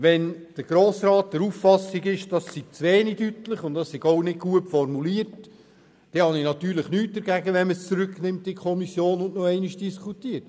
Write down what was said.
Wenn der Grosse Rat der Auffassung ist, der Artikel sei zu wenig deutlich und nicht gut formuliert, habe ich nichts dagegen, wenn man ihn in die Kommission zurücknimmt und noch einmal diskutiert.